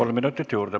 Kolm minutit juurde.